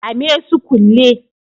Kame su kulle